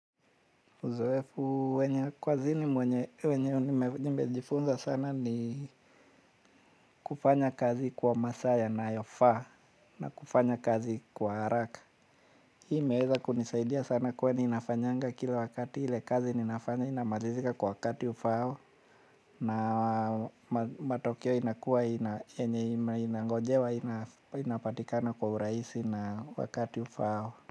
Uzoefu wenye kazini wenye nimejifunza sana ni kufanya kazi kwa masaa yanayofaa na kufanya kazi kwa haraka. Hii imeweza kunisaidia sana kwani inafanyanga kila wakati ile kazi ninafanya inamalizika kwa wakati ufaao. Na matokeo inakuwa inangojewa inapatikana kwa urahisi na wakati ufaao.